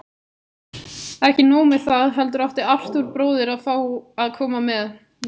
Ekki nóg með það, heldur átti Arthúr bróðir að fá að koma með.